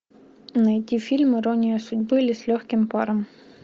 найти фильм ирония судьбы или с легким паром